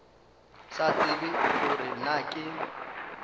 sa tsebe gore na ke